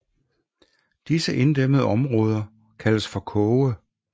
Disse inddæmmede områder kaldes for koge